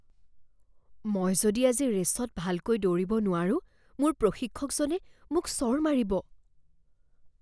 মই যদি আজি ৰে'চত ভালকৈ দৌৰিব নোৱাৰোঁ, মোৰ প্ৰশিক্ষকজনে মোক চৰ মাৰিব।